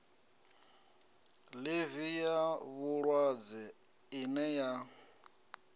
ḽivi ya vhulwadze ine ya